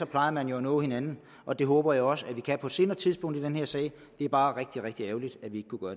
plejer man jo at nå hinanden og det håber jeg også vi kan på et senere tidspunkt i den her sag det er bare rigtig rigtig ærgerligt at vi